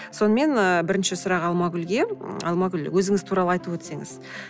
сонымен ы бірінші сұрақ алмагүлге алмагүл өзіңіз туралы айтып өтсеңіз